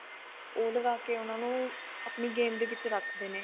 ਉਹ ਲਗਾ ਕੇ ਉਹਨਾਂ ਨੂੰ ਆਪਣੀ game ਦੇ ਵਿੱਚ ਰੱਖਦੇ ਨੇ